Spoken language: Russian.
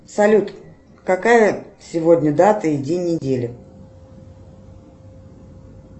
салют какая сегодня дата и день недели